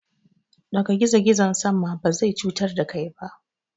Ɗaga gizo-gizon sama, ba zai cutar da kai ba.